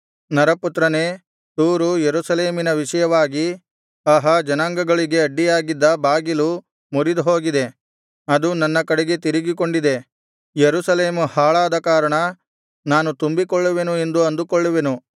ನರಪುತ್ರನೇ ತೂರು ಯೆರೂಸಲೇಮಿನ ವಿಷಯವಾಗಿ ಅಹಾ ಜನಾಂಗಗಳಿಗೆ ಅಡ್ಡಿಯಾಗಿದ್ದ ಬಾಗಿಲು ಮುರಿದುಹೋಗಿದೆ ಅದು ನನ್ನ ಕಡೆಗೆ ತಿರುಗಿಕೊಂಡಿದೆ ಯೆರೂಸಲೇಮು ಹಾಳಾದ ಕಾರಣ ನಾನು ತುಂಬಿಕೊಳ್ಳುವೆನು ಎಂದು ಅಂದುಕೊಳ್ಳುವೆನು